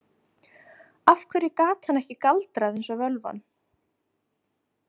Af hverju gat hann ekki galdrað eins og völvan?